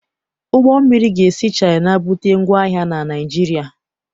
Ụgbọ mmiri ga-esi Chaina bute ngwa ahịa na Naijiria.